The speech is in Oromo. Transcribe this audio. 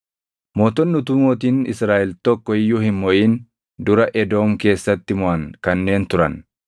Mootonni utuu mootiin Israaʼel tokko iyyuu hin moʼin dura Edoom keessatti moʼan kanneen turan: